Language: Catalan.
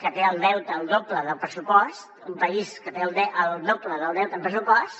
que té el deute el doble del pressupost un país que té el doble del deute en pressupost